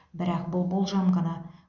бірақ бұл болжам ғана